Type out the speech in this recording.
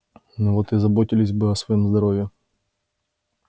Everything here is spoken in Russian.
вот и заботились бы о своём здоровье